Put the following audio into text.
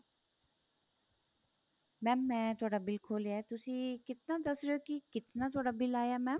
mam ਮੈਂ ਤੁਹਾਡਾ bill ਖੋਲਿਆ ਤੁਸੀਂ ਕਿਤਨਾ ਦੱਸ ਰਹੇ ਹੋ ਕੀ ਕਿਤਨਾ ਤੁਹਾਡਾ bill ਆਇਆ mam